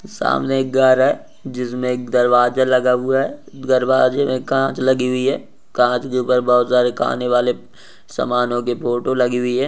सामने एक घर है जिस मे दरवाजा लगा हुआ है दरवाजे में कांच लगी हुई है कांच के ऊपर बहुत सारे खानेवाले समानों की फोटो लगी हुए है।